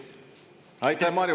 Aitäh, Mario!